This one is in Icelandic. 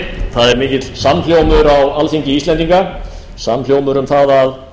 það er mikill samhljómur á alþingi íslendinga samhljómur um að það að